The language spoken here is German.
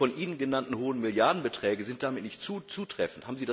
Die von Ihnen genannten hohen Milliardenbeträge sind damit nicht zutreffend.